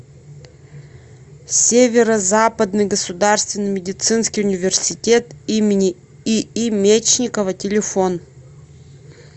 северо западный государственный медицинский университет им ии мечникова телефон